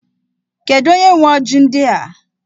Kedu onye nwe ọjị ndị a?